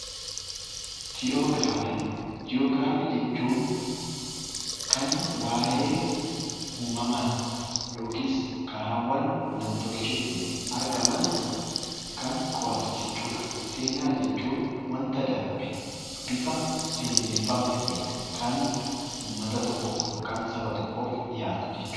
Jii'oogiraafii jechuun kan waayee uumamumaa yookiin karaawwan nam-tolcheetiin argaman kan qo'atu jechuudha. Seenaa jechuun wanta darbe bifa seeneffama ta'een kan uummata tokkoof yookiin saba tokkoof dhiyaatu jechuudha.